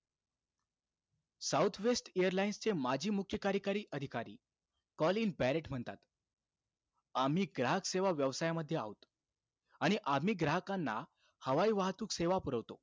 South west एअरलाईन्सचे माजी मुख्य कार्यकारी अधिकारी, कॉलिन पॅरेंट म्हणतात, आम्ही ग्राहक सेवा व्यवसायामध्ये आहोत. आणि आम्ही ग्राहकांना हवाई वाहतूक सेवा पुरवतो.